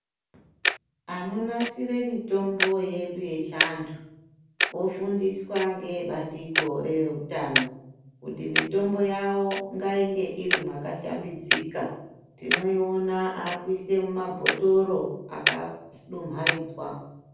Ano nasire mitombo yedu yechi antu ofundiswa ngee bandiko reve utano kuti mitombo yavo ngainge iri mwaka shambidzika tinoiona akuise mu mabhotoro aka dumhaidzwa.